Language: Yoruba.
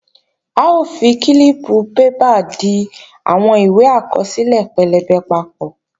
A ó fi kílíìpù bébà di àwọn ìwé àkọsílẹ̀ pẹlẹbẹ papọ̀